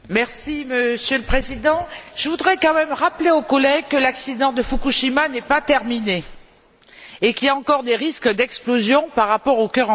Monsieur le Président, je voudrais quand même rappeler aux collègues que l'accident de Fukushima n'est pas terminé et qu'il y a encore des risques d'explosion par rapport au cœur en fusion.